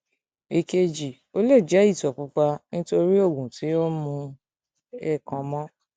èkejì ó lè jẹ ìtọ pupa nítorí oògùn tí ó ń mu ẹ kàn mọ